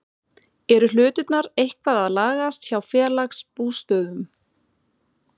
Eru hlutirnir eitthvað að lagast hjá Félagsbústöðum?